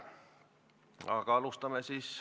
Aga alustame.